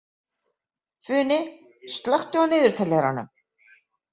Funi, slökktu á niðurteljaranum.